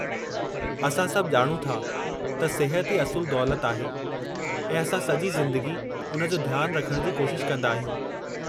असां सभु ॼाणूं था त सिहत ई असुलु दौलत आहे, ऐं असां सॼी ज़िंदगी उन जो ध्यानु रखण जी कोशिश कंदा आहियूं।